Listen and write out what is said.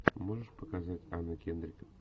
можешь показать анна кендрик